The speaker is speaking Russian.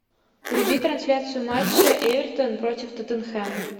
вруби трансляцию матча эвертон против тоттенхэм